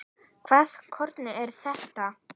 Hvaða hroki er þetta?